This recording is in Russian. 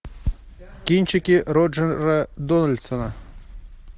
кинчики роджера дональдсона